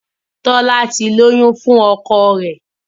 Tola tí lóyún fún ọkọ rẹ.